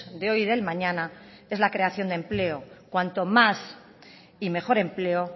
de hoy y del mañana es la creación de empleo cuanto más y mejor empleo